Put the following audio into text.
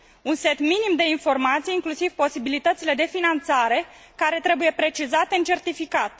Un set minim de informații, inclusiv posibilitățile de finanțare care trebuie precizate în certificat.